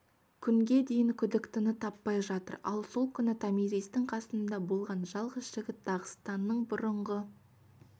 күнге дейін күдіктіні таппай жатыр ал сол күні томиристің қасында болған жалғыз жігіт дағыстанның бұрынғы